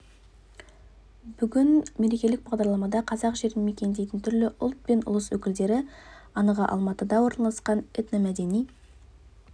бүгінгі мерекелік бағдарламада қазақ жерін мекендейтін түрлі ұлт пен ұлыс өкілдері анығы алматыда орналасқан этномәдени